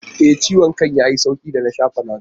E, ciwon kan ya yi sauƙi da na sha Fanadol.